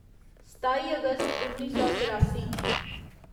सताई अगस्त उन्नी सौ चरासी